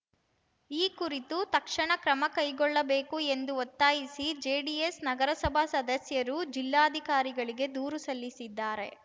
ಈ ಕುರಿತು ತಕ್ಷಣ ಕ್ರಮಕೈಗೊಳ್ಳಬೇಕು ಎಂದು ಒತ್ತಾಯಿಸಿ ಜೆಡಿಎಸ್‌ ನಗರಸಭಾ ಸದಸ್ಯರು ಜಿಲ್ಲಾಧಿಕಾರಿಗಳಿಗೆ ದೂರು ಸಲ್ಲಿಸಿದ್ದಾರೆ